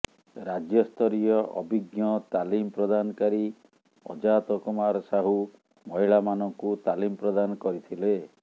ରାଜ୍ୟସ୍ତରୀୟ ଅଭିଜ୍ଞ ତାଲିମ ପ୍ରଦାନକାରୀ ଅଜାତ କୁମାର ସାହୁ ମହିଳାମାନଙ୍କୁ ତାଲିମ ପ୍ରଦାନ କରିଥିଲେ